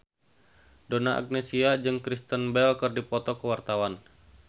Donna Agnesia jeung Kristen Bell keur dipoto ku wartawan